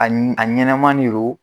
Ani a ɲɛnama de don